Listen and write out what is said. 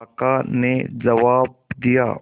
काका ने जवाब दिया